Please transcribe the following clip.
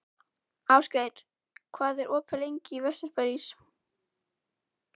Ástgeir, hvað er opið lengi í Vesturbæjarís?